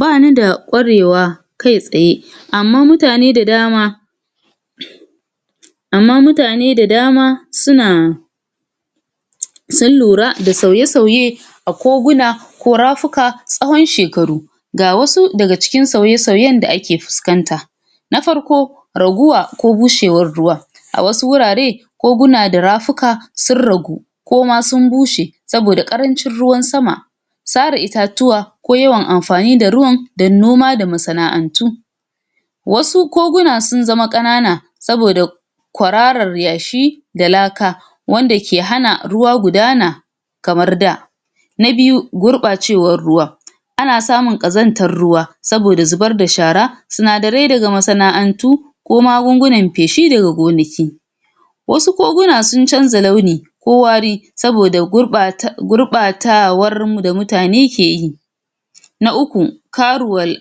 Bani da kwarewa kai tsaye amman mutane da dama amman mutane da dama suna sun lura da sauye-sauye a koguna ko rafuka tsawon shekaru ga wasu daga cikin sauye-sauyen da ake fiskanta na farko raguwa ko gushewar ruwa a wasu wurare koguna da rafuka sun ragu ko ma sun bushe tsaf saboda karancin ruwan sama sara itatatuwa ko yawan amfani da ruwan dan noma da masana'antu wasu koguna sun zama kanana saboda kwararar yashi da laka wanda ke hana ruwa gudana kamar da na biyu gurbacewar ruwa ana samun kasantar ruwa saboda zubar da shara sanadare daga masana'antu ko magungunan feshi daga gonaki wasu koguna sun canja launi ko wari saboda gurbatawar mu da mutane ke yi na uku karuwe